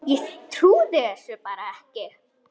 Ég trúði þessu bara ekki.